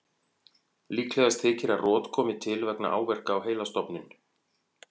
Líklegast þykir að rot komi til vegna áverka á heilastofninn.